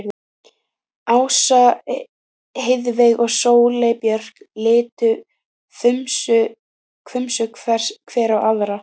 Ása, Heiðveig og Sóley Björk litu hvumsa hver á aðra.